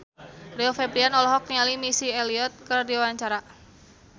Rio Febrian olohok ningali Missy Elliott keur diwawancara